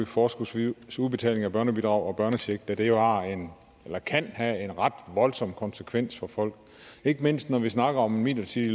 forskudsvis udbetaling af børnebidrag og børnecheck da det jo kan have en ret voldsom konsekvens for folk ikke mindst når vi snakker om midlertidig